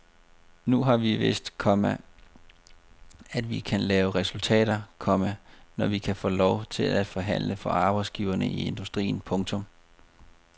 Nu har vi vist, komma at vi kan lave resultater, komma når vi kan få lov til at forhandle for arbejdsgiverne i industrien. punktum